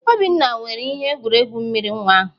Obinna were ihe egwuregwu mmiri nwa ahụ